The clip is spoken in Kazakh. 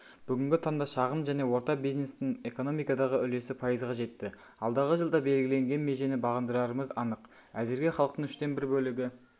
бүгінгі таңда шағын және орта бизнестің экономикадағы үлесі пайызға жетті алдағы жылда белгіленген межені бағындырарымыз анық әзірге халықтың үштен бір бөлігі